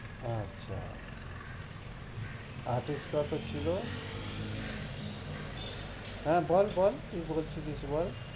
আচ্ছা কত ছিলো? হ্যাঁ বল বল কি হয়েছে বল